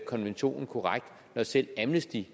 konventionen korrekt når selv amnesty